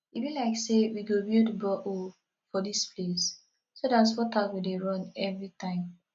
e be like say we go build borehole for dis place so dat water go dey run everytime